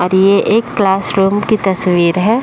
और ये एक क्लासरूम की तस्वीर है।